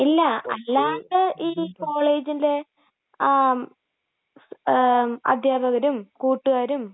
ഇല്ലാ, അല്ലാണ്ട് ഈ കോളേജിലെ...ങാ...അധ്യാപകരും കൂട്ടുകാരും...